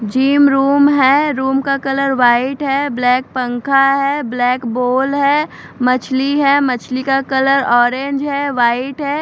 Gym room है room का colour white है ब्लॅक पंखा है ब्लॅक बॉल है मछली है मछली का कलर ऑरेंज है वाइट है।